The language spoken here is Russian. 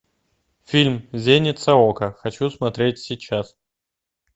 фильм зеница ока хочу смотреть сейчас